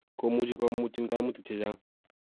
komuchi komutyin kaimutik che chang'